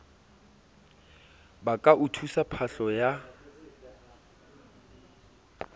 ba ka utswa phahlo ya